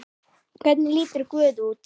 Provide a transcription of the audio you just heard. Hvernig lítur guð út?